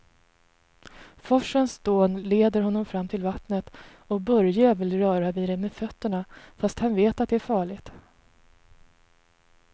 Forsens dån leder honom fram till vattnet och Börje vill röra vid det med fötterna, fast han vet att det är farligt.